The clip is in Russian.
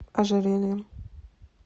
ожерельем